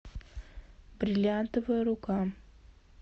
бриллиантовая рука